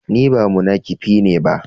Ni ba munakifi ne ba.